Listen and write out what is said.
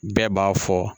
Bɛɛ b'a fɔ